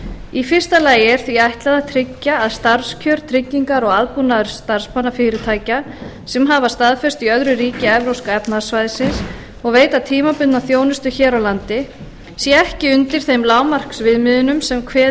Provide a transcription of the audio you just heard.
í fyrsta lagi er því ætlað að tryggja að starfskjör tryggingar og aðbúnaður starfsmanna fyrirtækja sem hafa staðfestu í öðru ríki evrópska efnahagssvæðisins og veita tímabundna þjónustu hér á landi sé ekki undir þeim lágmarksviðmiðunum sem kveðið